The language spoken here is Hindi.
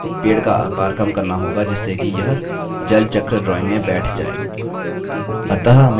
अब हमें पेड़ का आकार कम करना होगा जिससे कि यह जलचक्र drawing में बैठ जाये